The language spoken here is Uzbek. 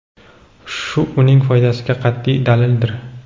shu uning foydasiga qat’iy dalildir.